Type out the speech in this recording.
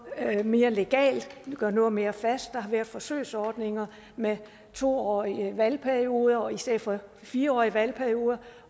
mere legalt gøre noget mere fast der har været forsøgsordninger med to årige valgperioder i stedet for fire årige valgperioder